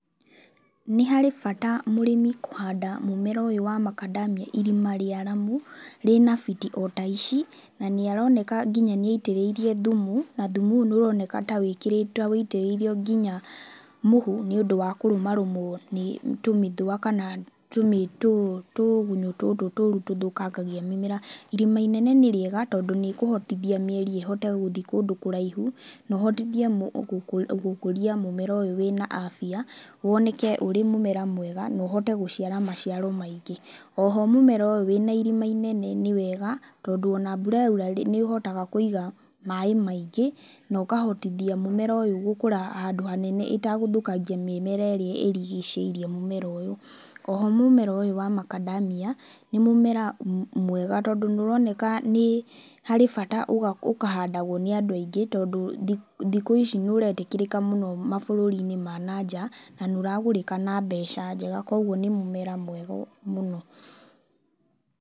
Nĩ harĩ bata mũrĩmi kũhanda mũmera ũyũ wa macadamia irima rĩaramu rĩna biti o ta ici. Na nĩ aroneka nginya nĩ aitĩrĩirie thumu, na thumu ũyũ nĩ ũroneka ta ũitĩrĩirio nginya mũhu nĩ ũndũ wa kũrũmarũmwo nĩ tũmĩthũa kana tũgunyũ tũtũ tũũru tũthũkangagia mĩmera. Irima inene nĩ riega tondũ nĩ ĩkũhotithia mĩri ĩhote gũthiĩ kũndũ kũraihu na ũhotithie gũkũria mũmera ũyũ wĩna afya. Woneke ũrĩ mũmera mwega na ũhote gũciara maciaro maingĩ. Oho mũmera ũyũ wĩna irima inene nĩ wega tondũ ona mbura yoirw nĩ ũhotaga kũiga maaĩ maingĩ, na ũkahotithia mũmera ũyũ gũkũra handũ hanene ĩtagũthũkangia mĩmera ĩrĩa ĩrigicĩirie mũmera ũyũ. Oho mũmera ũyũ wa macadamia nĩ mũmera mwega tondũ nĩ ũroneka nĩ harĩ bata ũkahandagwo nĩ andũ aingĩ, tondũ thikũ ici nĩ ũretĩkĩrĩka mũno mabũrũri ma na nja, na nĩ ũragũrĩka na mbeca njega. Koguo nĩ mũmera mwega mũno.